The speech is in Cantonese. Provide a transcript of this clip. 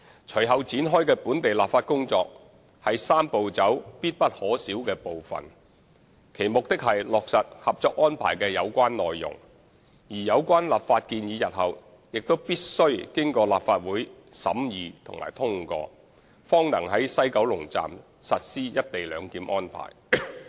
隨後展開的本地立法工作是"三步走"中必不可少的部分，其目的是落實《合作安排》的有關內容，而有關立法建議日後必須經過立法會審議及通過，方能在西九龍站實施"一地兩檢"安排。